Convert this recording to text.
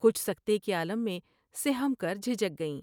کچھ سکتے کے عالم میں سہم کر جھک گئیں ۔